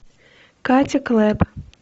катя клэп